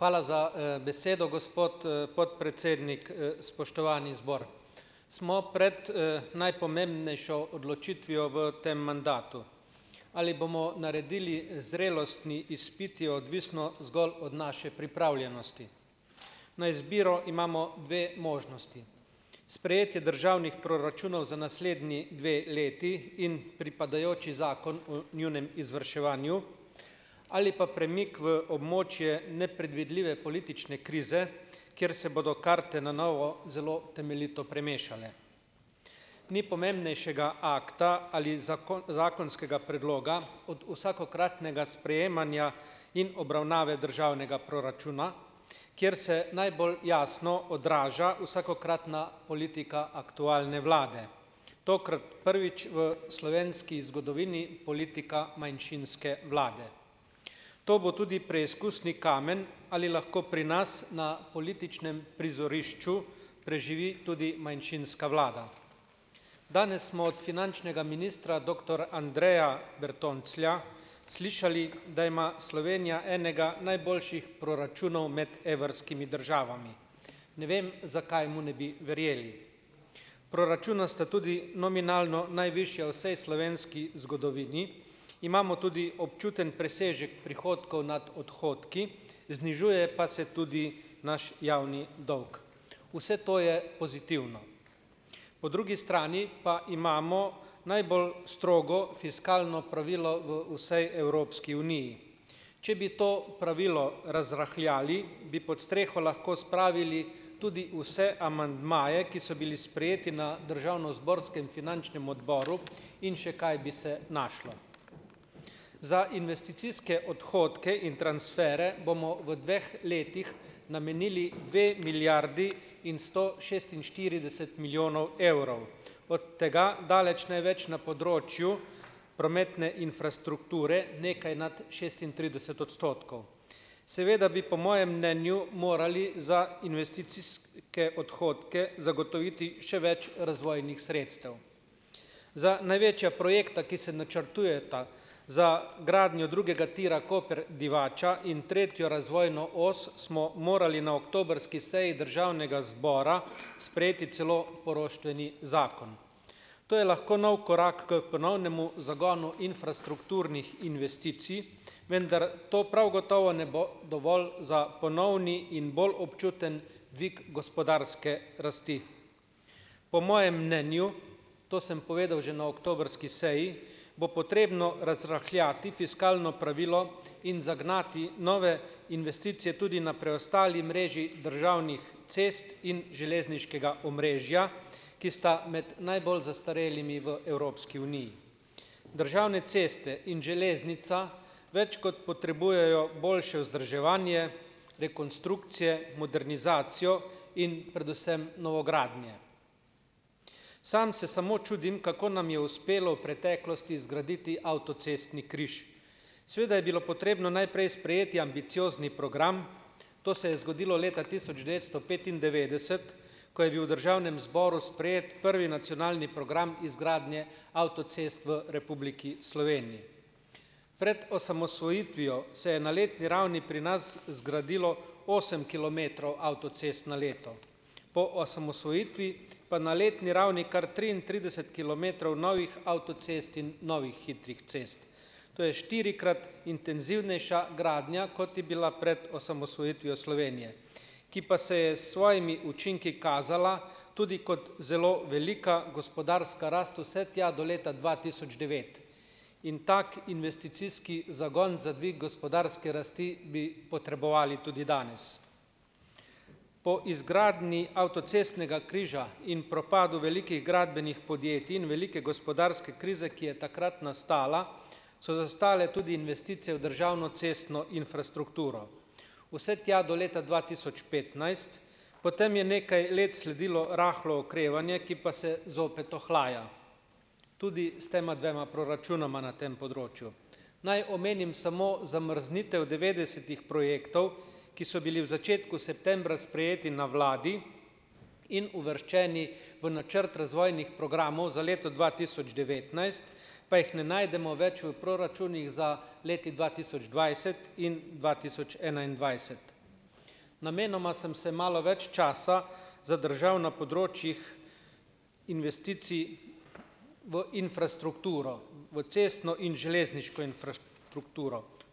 Hvala za, besedo, gospod, podpredsednik, spoštovani zbor. Smo pred, najpomembnejšo odločitvijo v tem mandatu, ali bomo naredili zrelostni izpit, je odvisno zgolj od naše pripravljenosti na izbiro, imamo dve možnosti, sprejetje državnih proračunov za naslednji dve leti in pripadajoči zakon o njunem izvrševanju ali pa premik v območje nepredvidljive politične krize, ker se bodo karte na novo zelo temeljito premešale. Ni pomembnejšega akta ali zakonskega predloga od vsakokratnega sprejemanja in obravnave državnega proračuna, kjer se najbolj jasno odraža vsakokratna politika aktualne vlade, tokrat prvič v slovenski zgodovini politika manjšinske vlade, to bo tudi preizkusni kamen, ali lahko pri nas na političnem prizorišču preživi tudi manjšinska vlada. Danes smo od finančnega ministra doktor Andreja Bertonclja slišali, da ima Slovenija enega najboljših proračunov med evrskimi državami. Ne vem, zakaj mu ne bi verjeli. Proračuna sta tudi nominalno najvišja v vsej slovenski zgodovini, imamo tudi občuten presežek prihodkov nad odhodki, znižuje pa se tudi naš javni dolg, vse to je pozitivno, po drugi strani pa imamo najbolj strogo fiskalno pravilo v vsej Evropski uniji, če bi to pravilo razrahljali, bi pod streho lahko spravili tudi vse amandmaje, ki so bili sprejeti na državnozborskem finančnem odboru, in še kaj bi se našlo. Za investicijske odhodke in transfere bomo v dveh letih namenili dve milijardi in sto šestinštirideset milijonov evrov, od tega daleč največ na področju prometne infrastrukture, nekaj nad šestintrideset odstotkov, seveda bi po mojem mnenju morali za investicijske odhodke zagotoviti še več razvojnih sredstev, zdaj, največja projekta, ki se načrtujeta, za gradnjo drugega tira Koper-Divača in tretjo razvojno os, smo morali na oktobrski seji državnega zbora sprejeti celo poroštveni zakon, to je lahko nov korak k ponovnemu zagonu infrastrukturnih investicij, vendar to prav gotovo ne bo dovolj za ponovni in bolj občuten dvig gospodarske rasti po mojem mnenju. To sem povedal že na oktobrski seji. Bo potrebno razrahljati fiskalno pravilo in zagnati nove investicije tudi na preostali mreži državnih cest in železniškega omrežja, ki sta med najbolj zastarelimi v Evropski uniji, državne ceste in železnica več kot potrebujejo boljše vzdrževanje, rekonstrukcije, modernizacijo in predvsem novogradnje. Samo se samo čudim, kako nam je uspelo v preteklosti zgraditi avtocestni križ, seveda je bilo potrebno najprej sprejeti ambiciozni program, to se je zgodilo leta tisoč devetsto petindevetdeset, ko je bil v državnem zboru sprejet prvi nacionalni program izgradnje avtocest v Republiki Sloveniji pred osamosvojitvijo se je na letni ravni pri nas zgradilo osem kilometrov avtocest na leto, po osamosvojitvi pa na letni ravni kar triintrideset kilometrov novih avtocest in novih hitrih cest, to je štirikrat intenzivnejša gradnja, kot je bila pred osamosvojitvijo Slovenije, ki pa se je s svojimi učinki kazala tudi kot zelo velika gospodarska rast vse tja do leta dva tisoč devet, in tak investicijski zagon za dvig gospodarske rasti bi potrebovali tudi danes po izgradnji avtocestnega križa in propadu velikih gradbenih podjetij in velike gospodarske krize, ki je takrat nastala, so zastale tudi investicije v državno cestno infrastrukturo vse tja do leta dva tisoč petnajst, potem je nekaj let sledilo rahlo okrevanje, ki pa se zopet ohlaja. Tudi s tema dvema proračunoma na tem področju naj omenim samo zamrznitev devetdesetih projektov, ki so bili v začetku septembra sprejeti na vladi in uvrščeni v načrt razvojnih programov za leto dva tisoč devetnajst, pa jih ne najdemo več v proračunih za leti dva tisoč dvajset in dva tisoč enaindvajset. Namenoma sem se malo več časa zadržal na področjih investicij v infrastrukturo, v cestno in železniško infrastrukturo,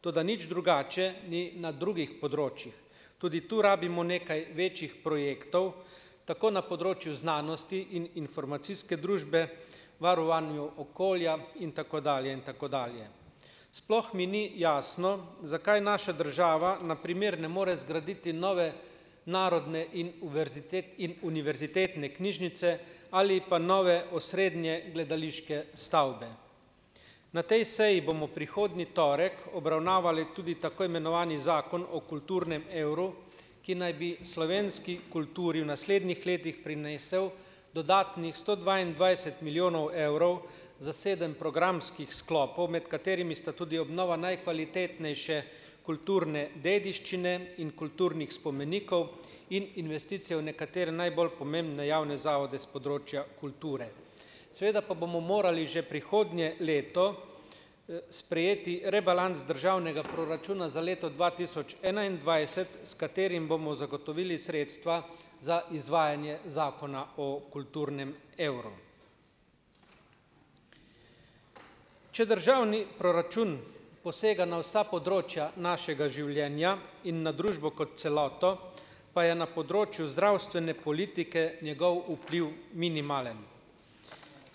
toda nič drugače ni na drugih področjih, tudi tu rabimo nekaj večjih projektov, tako na področju znanosti in informacijske družbe, varovanju okolja in tako dalje in tako dalje, sploh mi ni jasno, zakaj naša država na primer ne more zgraditi nove narodne in in univerzitetne knjižnice ali pa nove osrednje gledališke stavbe. Na tej seji bomo prihodnji torek obravnavali tudi tako imenovani zakon o kulturnem evru, ki naj bi slovenski kulturi v naslednjih letih prinesel dodatnih sto dvaindvajset milijonov evrov za sedem programskih sklopov, med katerimi sta tudi obnova najkvalitetnejše kulturne dediščine in kulturnih spomenikov in investicija v nekatere najbolj pomembne javne zavode s področja kulture, seveda pa bomo morali že prihodnje leto sprejeti rebalans državnega proračuna za leto dva tisoč enaindvajset, s katerim bomo zagotovili sredstva za izvajanje zakona o kulturnem evru, če državni proračun posega na vsa področja našega življenja in na družbo kot celoto, pa je na področju zdravstvene politike njegov vpliv minimalen.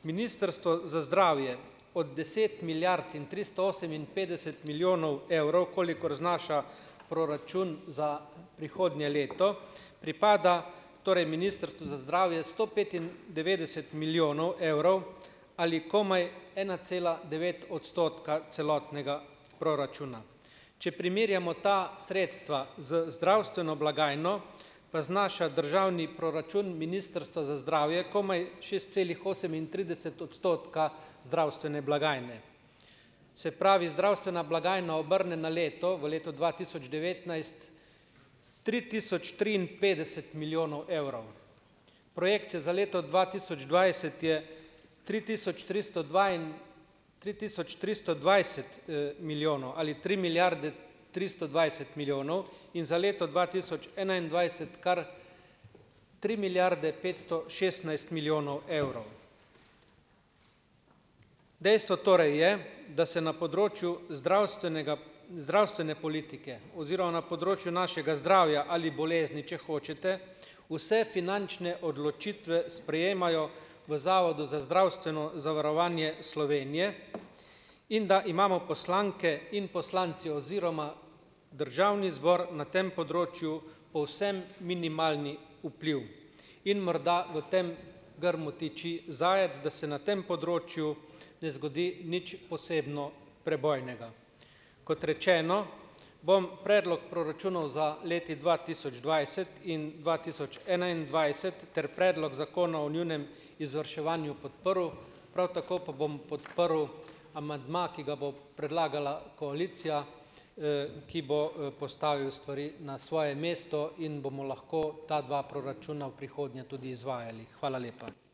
Ministrstvo za zdravje od deset milijard in tristo oseminpetdeset milijonov evrov, kolikor znaša proračun za prihodnje leto, pripada torej ministrstvu za zdravje sto petindevetdeset milijonov evrov ali komaj ena cela devet odstotka celotnega proračuna, če primerjamo ta sredstva z zdravstveno blagajno, pa znaša državni proračun ministrstva za zdravje komaj šest celih osemintrideset odstotka zdravstvene blagajne, se pravi, zdravstvena blagajna obrne na leto v letu dva tisoč devetnajst tri tisoč triinpetdeset milijonov evrov, projekcija za leto dva tisoč dvajset je tri tisoč tristo tri tisoč tristo dvajset, milijonov ali tri milijarde tristo dvajset milijonov in za leto dva tisoč enaindvajset kar tri milijarde petsto šestnajst milijonov evrov. dejstvo torej je, da se na področju zdravstvenega, zdravstvene politike oziroma na področju našega zdravja ali bolezni, če hočete, vse finančne odločitve sprejemajo v zavodu za zdravstveno zavarovanje Slovenije in da imamo poslanke in poslanci oziroma državni zbor na tem področju povsem minimalni vpliv, in morda v tem grmu tiči zajec, da se na tem področju ne zgodi nič posebno prebojnega, kot rečeno, bom predlog proračunov za leti dva tisoč dvajset in dva tisoč enaindvajset ter predlog zakona o njunem izvrševanju podprl, prav tako pa bom podprl amandma, ki ga bo predlagala koalicija, ki bo, postavil stvari na svoje mesto in bomo lahko ta dva proračuna v prihodnje tudi izvajali. Hvala lepa.